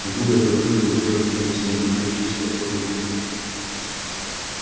от бога белый клык получил общение с ним покровительство корм и тепло